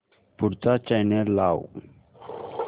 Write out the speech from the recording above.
पुढचा चॅनल लाव